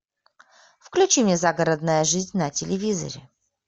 включи мне загородная жизнь на телевизоре